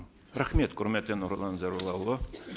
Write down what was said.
рахмет құрметті нұрлан зайроллаұлы